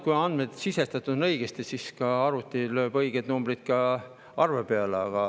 Kui andmed on sisestatud õigesti, siis suure tõenäosusega ikkagi arvuti lööb õiged numbrid arve peale.